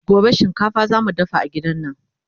gobe shinkafa zamu dafa a gidan nan